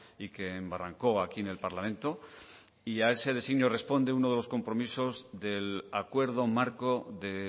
y que embarrancó aquí en el parlamento y a ese designio responde uno de los compromisos del acuerdo marco de